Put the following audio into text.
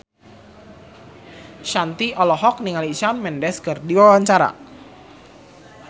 Shanti olohok ningali Shawn Mendes keur diwawancara